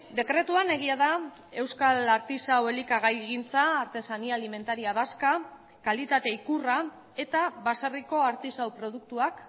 dekretuan egia da euskal artisau elikagaigintza artesanía alimentaria vasca kalitate ikurra eta baserriko artisau produktuak